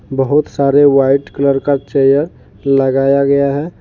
बहोत सारे white colour का चेयर लगाया गया है।